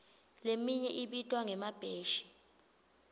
leminye ibitwa ngemabheshi